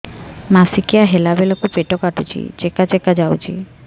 ମାସିକିଆ ହେଲା ବେଳକୁ ପେଟ କାଟୁଚି ଚେକା ଚେକା ଯାଉଚି